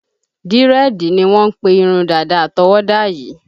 Dírẹ́ẹ̀dì ni wọ́n ń pe irun dàda àtọwọ́dá yii